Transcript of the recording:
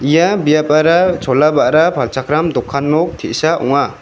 ia biapara chola ba·ra palchakram dokan nok te·sa ong·a.